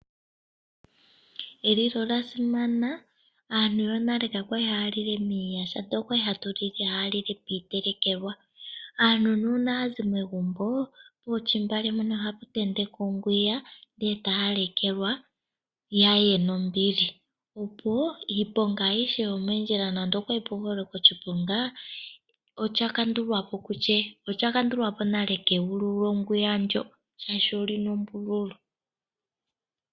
Elilo olya simana. Aantu yonale ka kwali ha ya lile miiyaha, ihe okwa li ha ya tile piitelekelwa. Aantu uuna ya zi megumbo, pontungwa mpono oha pa tentekwa onkumbo eta ya lalekwa ya ye nombili. Opo iiponga aihe yomoondjila, oya kandulwa po keyulu lyonkumbo ndjo.